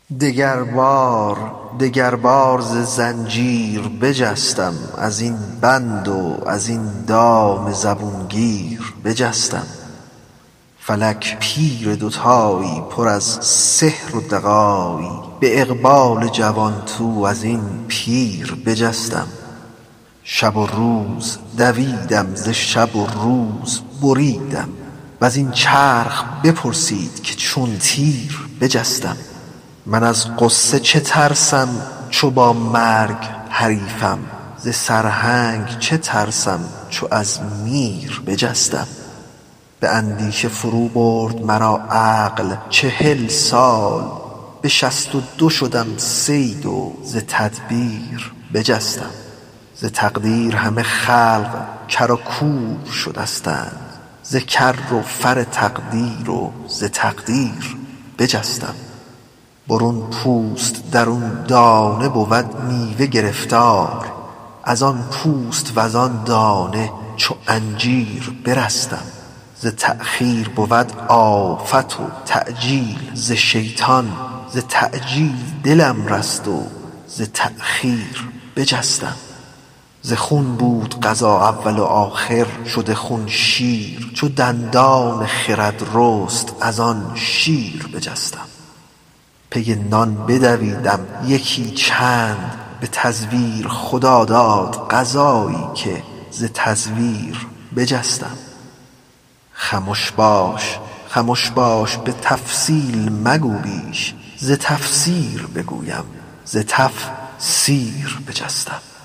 دگربار دگربار ز زنجیر بجستم از این بند و از این دام زبون گیر بجستم فلک پیر دوتایی پر از سحر و دغایی به اقبال جوان تو از این پیر بجستم شب و روز دویدم ز شب و روز بریدم و زین چرخ بپرسید که چون تیر بجستم من از غصه چه ترسم چو با مرگ حریفم ز سرهنگ چه ترسم چو از میر بجستم به اندیشه فروبرد مرا عقل چهل سال به شصت و دو شدم صید و ز تدبیر بجستم ز تقدیر همه خلق کر و کور شدستند ز کر و فر تقدیر و ز تقدیر بجستم برون پوست درون دانه بود میوه گرفتار ازان پوست وزان دانه چو انجیر بجستم ز تأخیر بود آفت و تعجیل ز شیطان ز تعجیل دلم رست و ز تأخیر بجستم ز خون بود غذا اول و آخر شد خون شیر چو دندان خرد رست از آن شیر بجستم پی نان بدویدم یکی چند به تزویر خدا داد غذایی که ز تزویر بجستم خمش باش خمش باش به تفصیل مگو بیش ز تفسیر بگویم ز تف سیر بجستم